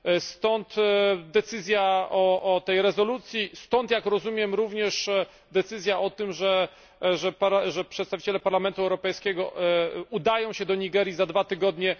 Stąd decyzja o tej rezolucji, stąd jak rozumiem również decyzja o tym, by przedstawiciele Parlamentu Europejskiego udali się do Nigerii za dwa tygodnie.